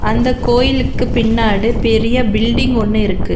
இந்த கோயிலுக்கு பின்னாடு பெரிய பில்டிங் ஒன்னு இருக்கு.